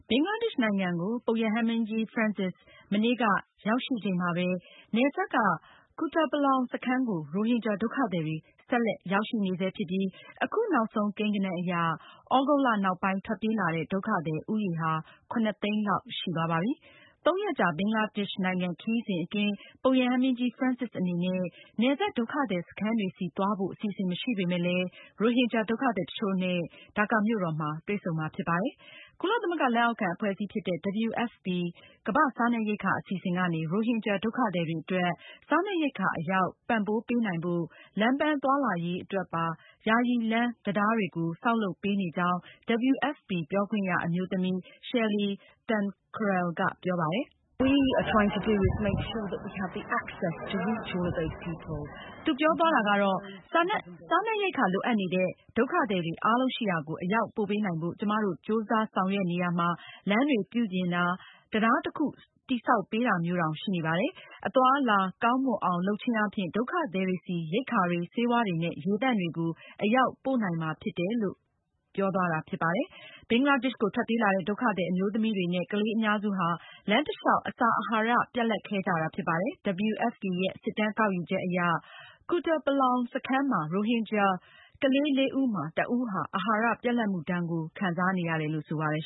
ဘင်္ဂလားဒေ့ရှ်နိုင်ငံကို ပုပ်ရဟန်းမင်းကြီး Francis မနေ့က ရောက်ရှိချိန်မှာပဲ နယ်စပ်က Kutapalong စခန်းကို ရိုဟင်ဂျာဒုက္ခသည်တွေ ဆက်လက်ရောက်ရှိနေဆဲဖြစ်ပြီး အခုနောက်ဆုံးကိန်းဂဏန်းအရ သြဂုတ်လောက်နောက်ပိုင်း ထွက်ပြေးလာတဲ့ ဒုက္ခသည်ဦးရေဟာ ၇၀၀,၀၀၀ သိန်းလောက်ရှိသွားပါပြီ။ ၃ ရက်ကြာ ဘင်္ဂလားဒေ့ရှ်နိုင်ငံခရီးစဉ်အတွင်း ပုပ်ရဟန်းမင်းကြီး Francis အနေနဲ့ နယ်စပ် ဒုက္ခသည်စခန်းတွေဆီကို သွားဖို့ အစီအစဉ်မရှိပေမယ့် ရိုဟင်ဂျာဒုက္ခသည် တချို့ နဲ့ ဒါကာမြို့တော်မှာ တွေ့ဆုံမှာဖြစ်ပါတယ်။ ကုလသမဂ္ဂလက်အောက်ခံအဖွဲ့အစည်းဖြစ်တဲ့ WFP ကမ္ဘာ့စားနပ်ရိက္ခာအစီအစဉ်ကနေ ရိုဟင်ဒုက္ခသည်တွေအတွက် စားနပ်ရိက္ခာအရောက်ပံပိုးပေးနိုင်ဖို့ လမ်းပန်း သွားလာရေးအတွက်ပါ ယာယီလမ်း၊ တံတားတွေ ကိုပါ ဆောက် လုပ်ပေးနေကြောင်း WFP ပြောခွင့်ရအမျိုးသမီး Shelley Thankral ကပြောပါတယ်။ "စားနပ်ရိက္ခာလိုအပ်နေတဲ့ ဒုက္ခသည်တွေအားလုံးရှိရာကို အရောက်ပို့ပေးနိုင်ဖို့ ကျမတို့ ကြိုးစားဆောင်ရွက်နေရာမှာ လမ်းတွေပြုပြင်ပေးတာ၊ တံတားတခု တည်ဆောက်ပေး တာမျိုးတောင်ရှိပါတယ်။ အသွားအလာကောင်းမွန်အောင် လုပ်ခြင်းအားဖြင့် ဒုက္ခသည်တွေဆီ ရိက္ခာတွေ၊ ဆေးဝါးတွေနဲ့ ရေသန့်တွေကို အရောက်ပို့နိုင်မှာဖြစ်ပါတယ်။" ဘင်္ဂလားဒေ့ရှ်ကိုထွက်ပြေးလာတဲ့ဒုက္ခသည်အမျိုးသမီးတွေနဲ့ ကလေးအများစုဟာ လမ်းတလျောက် အစာအဟာရပြတ်လတ်ခဲ့ကြတာဖြစ်ပါတယ်။ WFP ရဲ့ စစ်တမ်းကောက် ယူချက်အရ Kutupalong စခန်းမှာ ရိုဟင်ဂျာ ကလေး ၄ ဦးမှာ ၁ ဦး ဟာ အဟာရ ပြတ်လတ်မှု ဒဏ်ကို ခံစားနေရတယ်လို့ ဆိုပါတယ်။